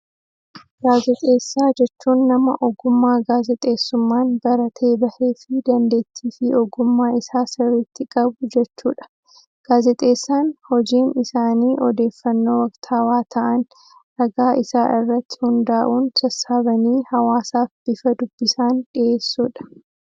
Gaazexeessaa jechuun nama ogummaa gaazexeessummaan baratee bahee fi dandeettii fi ogummaa isaa sirriitti qabu jechuudha. Gaazexeessaan hojiin isaanii odeeffannoo waktawaa ta'an, ragaa isaa irratti hundaa'uun sassaabanii hawaasaaf bifa dubbisaan dhiheessuudha.